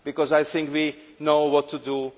I think we know what to do